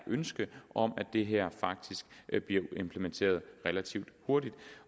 ønske om at det her faktisk bliver implementeret relativt hurtigt